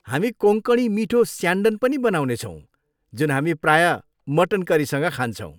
हामी कोँकणी मिठो स्यान्डन पनि बनाउनेछौँ जुन हामी प्रायः मटन करीसँग खान्छौँ।